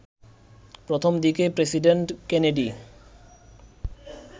প্রথম দিকে president Kennedy